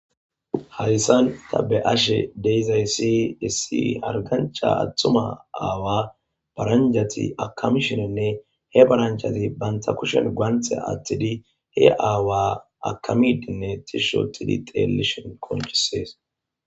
Haysan ta be'ashe daizaysi dissi hargancha attuma aawa baranjati akamishinenne he baranchazi banta kushen guaanthea atthidi he aawa akamidinne tishshootidi xeellishen qonchisees